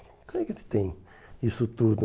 Como é que eles têm isso tudo